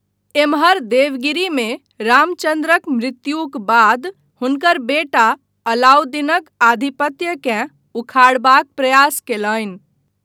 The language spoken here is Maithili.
एम्हर देवगिरीमे रामचन्द्रक मृत्युक बाद हुनकर बेटा अलाउद्दीनक आधिपत्यकेँ उखाड़बाक प्रयास कयलनि।